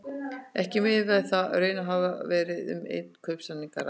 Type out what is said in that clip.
Er þá miðað við að í raun hafi verið um einn kaupsamning að ræða.